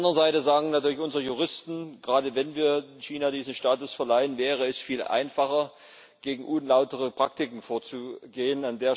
Auf der anderen Seite sagen natürlich unsere Juristen, gerade wenn wir China diesen Status verleihen, wäre es viel einfacher, gegen unlautere Praktiken vorzugehen.